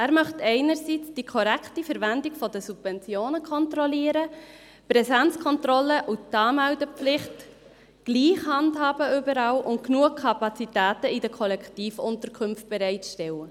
Er möchte die korrekte Verwendung der Subventionen kontrollieren, die Präsenzkontrolle und die Anmeldepflicht überall gleich handhaben und genügend Kapazitäten in den Kollektivunterkünften bereitstellen.